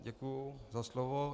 Děkuji za slovo.